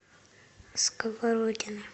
сковородино